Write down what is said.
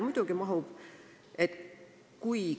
Muidugi mahub!